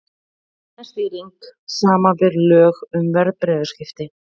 Eignastýring, samanber lög um verðbréfaviðskipti.